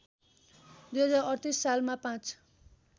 २०३८ सालमा पाँच